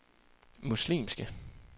muslimske